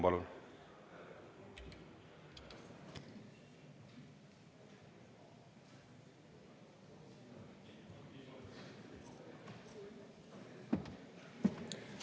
Palun!